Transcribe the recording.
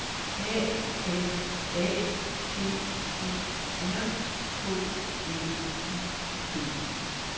A M A T Ø R K L U B